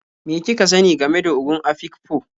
Me kika sani game da Ogon Afikpo?